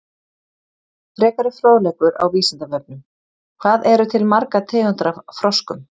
Frekari fróðleikur á Vísindavefnum: Hvað eru til margar tegundir af froskum?